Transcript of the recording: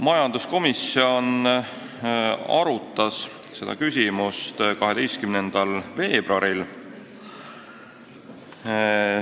Majanduskomisjon arutas seda küsimust 12. veebruaril.